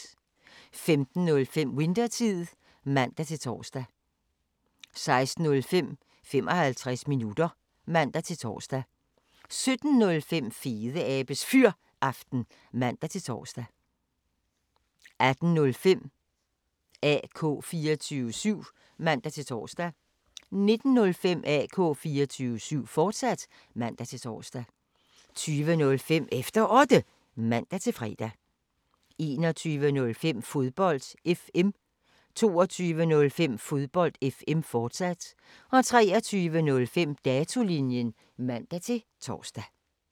15:05: Winthertid (man-tor) 16:05: 55 minutter (man-tor) 17:05: Fedeabes Fyraften (man-tor) 18:05: AK 24syv (man-tor) 19:05: AK 24syv, fortsat (man-tor) 20:05: Efter Otte (man-fre) 21:05: Fodbold FM 22:05: Fodbold FM, fortsat 23:05: Datolinjen (man-tor)